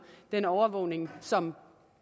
den overvågning som